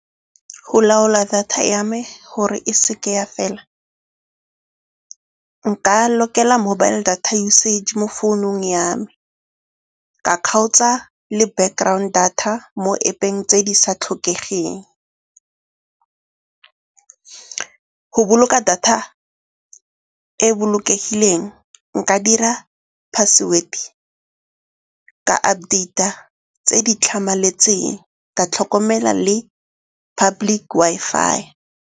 Go laola data ya me gore e seke ya fela nka lokela mobile data usage mo founung ya me, ka kgaotsa le background data mo App-eng tse di sa tlhokegeng. Go boloka data e bolokegileng nka dira password-e, ka update-a tse di tlhamaletseng, ka tlhokomela le public Wi-Fi.